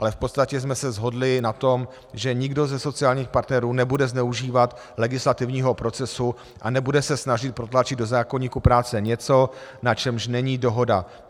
Ale v podstatě jsme se shodli na tom, že nikdo ze sociálních partnerů nebude zneužívat legislativního procesu a nebude se snažit protlačit do zákoníku práce něco, na čemž není dohoda.